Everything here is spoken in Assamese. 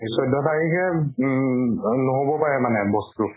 চৈধ্য তাৰিখে উব উম নহ'বও পাৰে মানে বস্তু